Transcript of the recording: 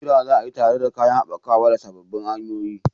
ƙira za a yi tare da kayan haɓakawa da sababbin hanyoyin.